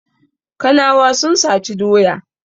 Kanawa sun saci doya.